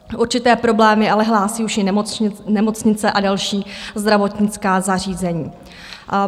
Určité problémy ale hlásí už i nemocnice a další zdravotnická zařízení.